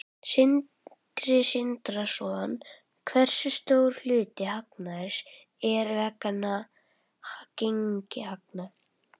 Sindri Sindrason: Hversu stór hluti hagnaðarins er vegna gengishagnaðar?